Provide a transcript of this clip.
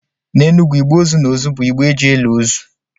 N’Enugwu, igbe ozu na ozu bụ igbe e ji eli ozu